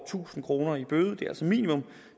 tusind kroner i bøde det er altså minimum